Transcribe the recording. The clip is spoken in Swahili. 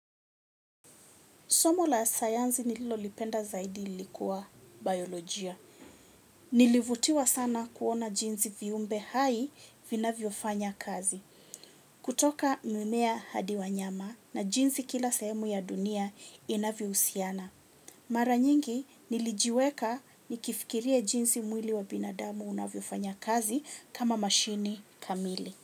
Somo la sayansi nililolipenda zaidi lilikuwa biolojia. Nilivutiwa sana kuona jinsi viumbe hai vinavyofanya kazi. Kutoka mimea hadi wanyama na jinsi kila sehemu ya dunia inavyohusiana. Mara nyingi nilijiweka nikifikiria jinsi mwili wa binadamu unavyofanya kazi kama mashini kamili.